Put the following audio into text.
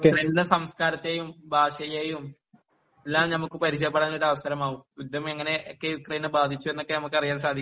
യുക്രൈന്റെ സംസ്കാരത്തെയും ഭാഷയേയും എല്ലാം നമുക്ക് പരിചയപ്പെടാൻ ഒരു അവസരമാകും യുദ്ധം എങ്ങനെയൊക്കെ യുക്രൈനെ ബാധിച്ചു എന്നൊക്കെ നമുക്ക് അറിയാൻ സാധിക്കും